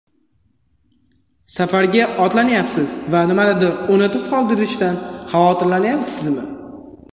Safarga otlanyapsiz va nimanidir unutib qoldirishdan xavotirlanyapsizmi?